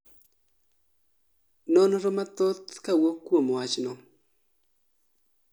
nonro mathoth kawuok kuom wachno